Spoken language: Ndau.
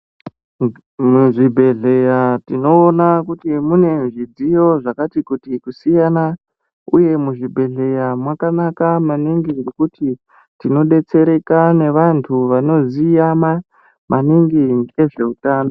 Muzvi bhedhleya tinoona kuti mune zvidziyo zvkati kuti kusiyana uye muzvi bhedhleya mwakanaka maningi nekuti tino detsereka nevantu vanoziya maningi ngezveutano.